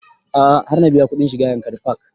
A'a har na biya kuɗin shiga yankari park